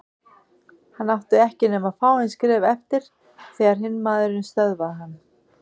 Hann átti ekki nema fáein skref eftir þegar hinn maðurinn stöðvaði hann.